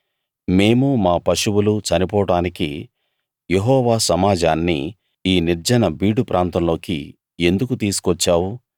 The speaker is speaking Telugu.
మేమూ మా పశువులూ చనిపోడానికి యెహోవా సమాజాన్ని ఈ నిర్జన బీడు ప్రాంతంలోకి ఎందుకు తీసుకొచ్చావు